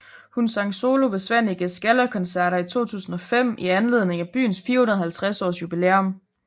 Hun sang solo ved Svanekes Gallakoncerter i 2005 i anledning af byens 450 års jubilæum